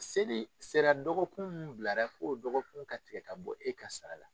Seli sera dɔgɔkun mun bilara ko dɔgɔkun ka tigɛ ka bɔ e ka sara la.